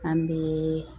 An bɛ